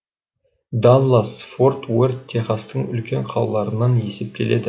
даллас форт уэрт техастың үлкен қалаларынан есептеледі